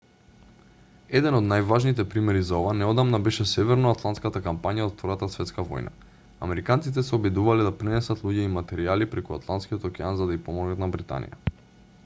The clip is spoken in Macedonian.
еден од најважните примери за ова неодамна беше северно-атлантската кампања од втората светска војна. американците се обидувале да пренесат луѓе и материјали преку атланскиот океан за да ѝ помогнат на британија